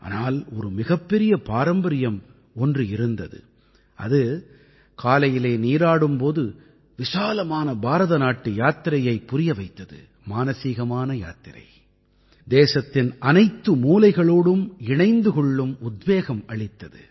ஆனால் ஒரு மிகப்பெரிய பாரம்பரியம் ஒன்று இருந்தது அது காலையிலே நீராடும் போது விசாலமான பாரதநாட்டு யாத்திரையைப் புரிய வைத்தது மானசீகமான யாத்திரை தேசத்தின் அனைத்து மூலைகளோடும் இணைந்து கொள்ளும் உத்வேகம் அளித்தது